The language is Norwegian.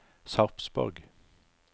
Sarpsborg